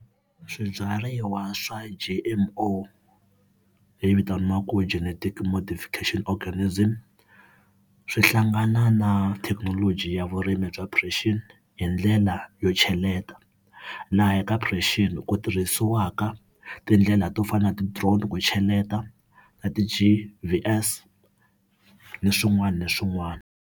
Swibyariwa swa G_M_O, leyi vitaniwaku Genetically Modification Organism, swi hlangana na thekinoloji ya vurimi bya precision hi ndlela yo cheleta, laha ka precision ku tirhisiwaka tindlela to fana na ti-drone ku cheleta na ti G_V_S na swin'wana na swin'wana.